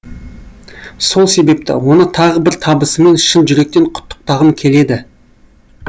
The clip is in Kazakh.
сол себепті оны тағы бір табысымен шын жүректен құттықтағым келеді